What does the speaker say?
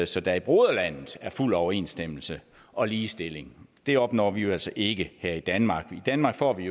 så der i broderlandet er fuld overensstemmelse og ligestilling det opnår vi jo altså ikke her i danmark i danmark får vi